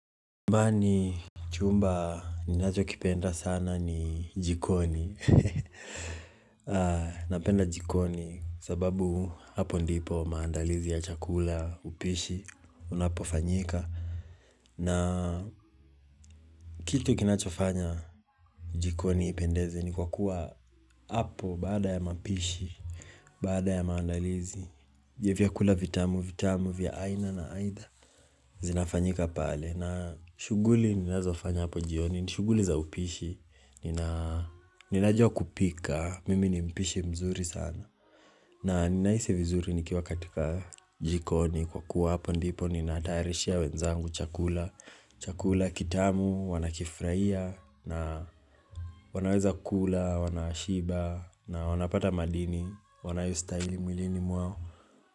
Nyumbani, chumba ninachokipenda sana ni jikoni. Napenda jikoni sababu hapo ndipo maandalizi ya chakula, upishi, unapofanyika. Na kitu kinachofanya jikoni ipendeze ni kwa kuwa hapo baada ya mapishi, baada ya maandalizi, vya vyakula vitamu, vitamu, vya aina na aina, zinafanyika pale. Na shuguli ninazofanya hapo jioni, ni shughuli za upishi Ninajua kupika, mimi ni mpishi mzuri sana na ninahisi vizuri nikiwa katika jikoni kwa kuwa hapo ndipo ninatayairishia wenzangu chakula Chakula kitamu, wanakifurahia na wanaweza kula, wanashiba na wanapata madini Wanayostahili mwilini mwao.